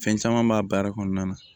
Fɛn caman b'a baara kɔnɔna na